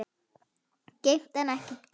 Geymt en ekki gleymt